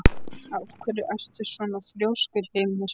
Af hverju ertu svona þrjóskur, Hymir?